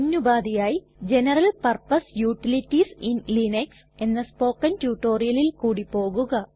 മുന്നുപാധിയായി general purpose utilities in Linux എന്ന spoken റ്റുറ്റൊരിയലിൽ കൂടി പോകുക